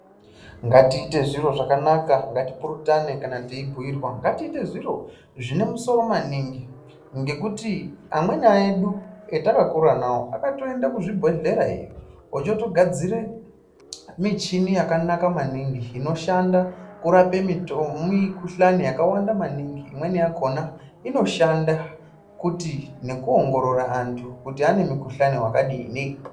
Ngatiite zviro zvakanaka ngatipurutane kana teyibhuyirwa ngatiite zviro zvine musoro maningi ngekuti amweni edu atakakura nawo akatoende kuzvibhedhlera iyoo ochotogadzire michini yakanaka maningi inoshanda kugadzira mikhuhlane yakawanda maningi imweni yakona inoshanda futhi nekuongorora andu kuti ane mikhuhlane wakadini.